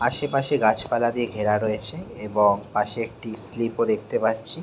আশপাশে গাছ পালা দিয়ে ঘেরা রয়েছে এবং পাশে একটি স্লিপও দেখতে পাচ্ছি ।